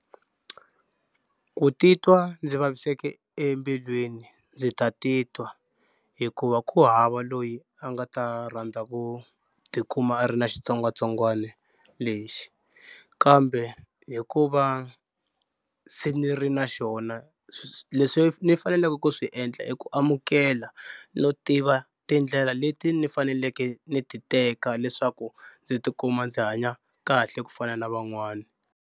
Ku titwa ndzi vaviseke embilwini ndzi ta titwa hikuva ku hava loyi a nga ta rhandza ku tikuma a ri na xitsongwatsongwana lexi kambe hikuva se ni ri na xona leswi ni faneleke ku swi endla i ku amukela no tiva tindlela leti ni faneleke ni ti teka leswaku ndzi tikuma ndzi hanya kahle ku fana na van'wana.